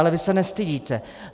Ale vy se nestydíte.